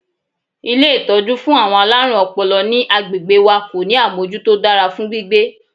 Ilé ìtọ́jú fún àwọn alárùn ọpọlọ ní agbègbè wa kò ní àmọ́jútó tó dára fún gbígbé.